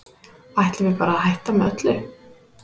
Ætlum við bara að hætta með öllu?